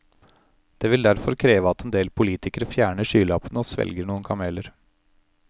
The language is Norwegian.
Det vil derfor kreve at en del politikere fjerner skylappene og svelger noen kameler.